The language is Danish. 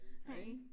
Hej